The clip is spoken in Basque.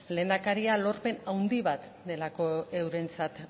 lehendakaria lorpen handi bat delako eurentzat